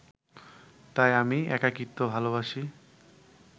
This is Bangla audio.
তাই আমি একাকিত্ব ভালোবাসি